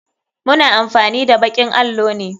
Muna amfani da bakin allo ne.